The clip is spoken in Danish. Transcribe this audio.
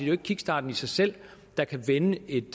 jo ikke kickstarten i sig selv der kan vende en